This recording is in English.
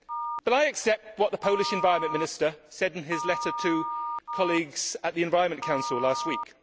But I accept what the Polish Environment Minister said in his letter to colleagues at the Environment Council last week.